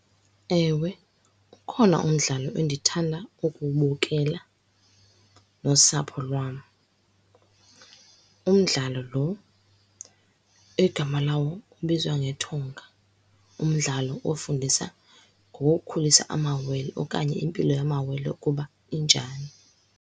Ewe, ukhona umdlalo endithanda ukuwubukela nosapho lwam. Umdlalo lo egama lawo ubizwa ngethunga, umdlalo ofundisa ngokukhulisa amawele, okanye impilo yamawele ukuba injani.